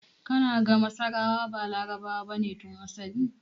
Kana ga masarawa ba Larabawa bane tun asali?